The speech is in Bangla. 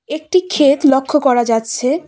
একটি ক্ষেত লক্ষ্য করা যাচ্ছে।